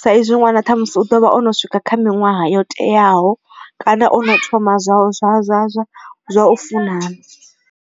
sa izwi ṅwana ṱhamusi u ḓovha o no swika kha miṅwaha yo teaho kana o no thoma zwa zwa zwa zwa zwa u funana.